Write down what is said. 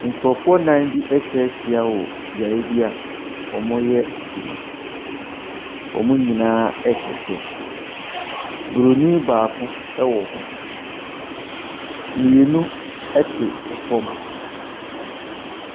Nkurɔfoɔ nnan bi atwa ahyia wɔ beaeɛ bi a wɔreyɛ adwuma. Wɔn nyinaa hyɛ kyɛ. Buroni baako wɔ hɔ. Mmienu te fam.